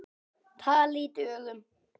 Talið í dögum.